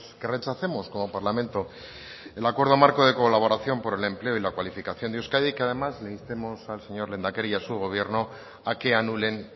que rechacemos como parlamento el acuerdo marco de colaboración por el empleo y la cualificación de euskadi y que además le instemos al señor lehendakari y a su gobierno a que anulen